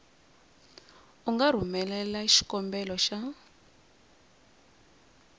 u nga rhumelela xikombelo xa